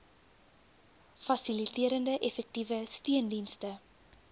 fasiliterende effektiewe steundienste